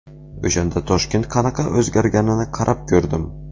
O‘shanda Toshkent qanaqa o‘zgarganini qarab ko‘rdim.